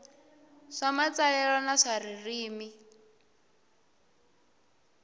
swa matsalelo na swa ririmi